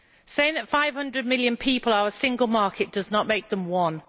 Saying that 500 million people are a single market does not make them one.